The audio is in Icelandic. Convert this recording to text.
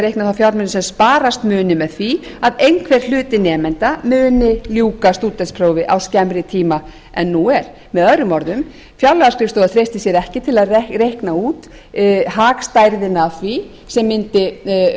reikna þá fjármuni sem sparast muni með því að einhver hluti nemenda muni ljúka stúdentsprófi á skemmri tíma en nú er með öðrum orðum fjárlagaskrifstofan treystir sér ekki til að reikna út hagstærðina af því sem mundi verða